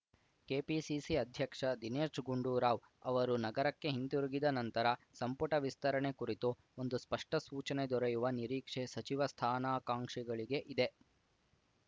KPCC ಅಧ್ಯಕ್ಷ ದಿನೇಶ್‌ ಗುಂಡೂರಾವ್‌ ಅವರು ನಗರಕ್ಕೆ ಹಿಂತಿರುಗಿದ ನಂತರ ಸಂಪುಟ ವಿಸ್ತರಣೆ ಕುರಿತು ಒಂದು ಸ್ಪಷ್ಟಸೂಚನೆ ದೊರೆಯುವ ನಿರೀಕ್ಷೆ ಸಚಿವ ಸ್ಥಾನಕಾಂಕ್ಷಿಗಳಿಗೆ ಇದೆ